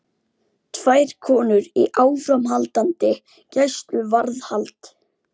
Tvær konur í áframhaldandi gæsluvarðhald